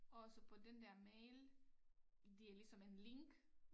Og så på den der mail det er ligesom en link